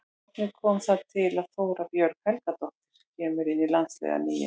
Hvernig kom það til að Þóra Björg Helgadóttir kemur inn í landsliðið að nýju?